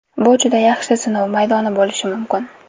Bu juda yaxshi sinov maydoni bo‘lishi mumkin.